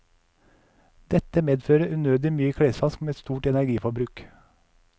Dette medfører unødig mye klesvask med stort energiforbruk.